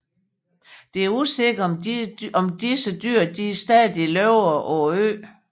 Det er usikkert om disse dyr stadig lever på øen